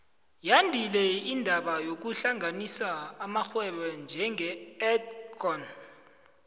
yandile indaba yokuhlanganisa amarhwebo njenge edcon